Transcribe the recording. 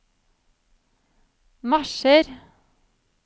marsjer